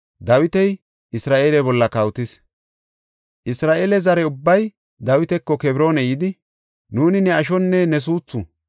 Isra7eele zare ubbay Dawitako Kebroona yidi, “Nuuni ne ashonne ne suuthu.